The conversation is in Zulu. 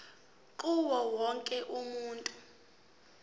kuwo wonke umuntu